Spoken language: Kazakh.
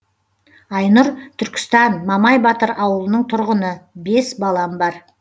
айнұр түркістан мамай батыр ауылының тұрғыны бес балам бар